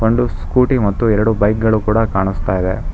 ಒಂದು ಸ್ಕೂಟಿ ಮತ್ತು ಎರಡು ಬೈಕ್ ಗಳು ಕೂಡ ಕಾಣಿಸ್ತಾ ಇದೆ.